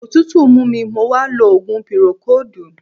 Òtútù mú mi mo wá lo òògùn pírókóòdù.